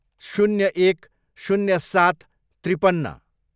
शून्य एक, शून्य सात, त्रिपन्न